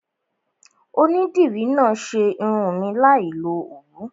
Onídìrí náà ṣe irun mi láì lo Òwú.